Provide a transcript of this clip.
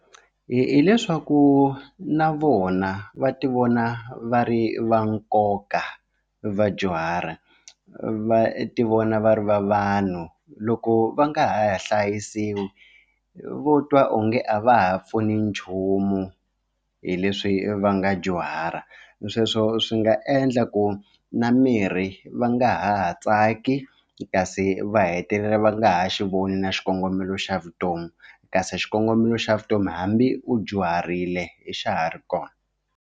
Hileswaku na vona va ti vona va ri va nkoka vadyuhari va ti vona va ri va vanhu loko va nga ha hlayisiwi vo twa onge a va ha pfuni nchumu hi leswi va nga dyuhara sweswo swi nga endla ku na mirhi va nga ha tsaki kasi va hetelela va nga ha xi voni na xikongomelo xa vutomi kasi xikongomelo xa vutomi hambi u dyuharile hi xa ha ri kona.